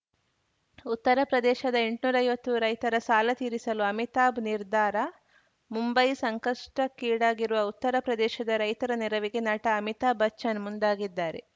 ಉತ್ತರ ಪ್ರದೇಶದ ಎಂಟನೂರೈವತ್ತು ರೈತರ ಸಾಲ ತೀರಿಸಲು ಅಮಿತಾಭ್‌ ನಿರ್ಧಾರ ಮುಂಬೈ ಸಂಕಷ್ಟಕ್ಕೀಡಾಗಿರುವ ಉತ್ತರ ಪ್ರದೇಶದ ರೈತರ ನೆರವಿಗೆ ನಟ ಅಮಿತಾಭ್‌ ಬಚ್ಚನ್‌ ಮುಂದಾಗಿದ್ದಾರೆ